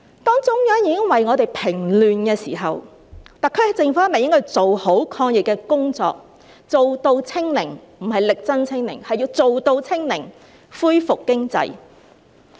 當中央已為我們平亂時，特區政府是否應該要做好抗疫工作，做到"清零"——不是力爭"清零"，而是要做到"清零"——恢復經濟？